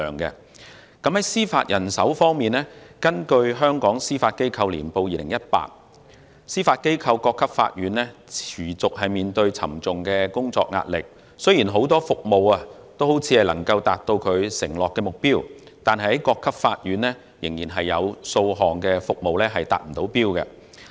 在司法人手方面，根據《香港司法機構年報2018》，司法機構各級法院持續面對沉重工作壓力，雖然很多服務看似能夠達到所承諾的目標，但各級法院仍有若干服務未能達標。